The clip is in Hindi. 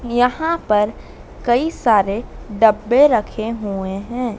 यहां पर कई सारे डब्बे रखे हुए है।